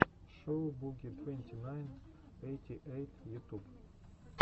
шоу буги твенти найн эйти эйт ютуб